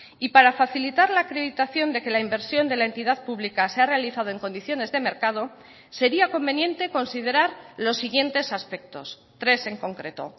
y para facilitar la acreditación de que la inversión de la entidad pública se ha realizado en condiciones de mercado sería conveniente considerar los siguientes aspectos tres en concreto